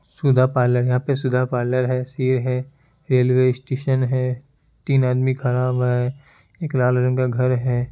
सुधा parlour यहाँ पे Sudha parlour ये है रेलवे स्टेसन है तीन आदमी खड़ा हुआ है एक लाल रंग का घर है।